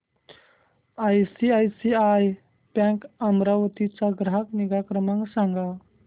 ICICI bank Amravati चा ग्राहक निगा क्रमांक सांगा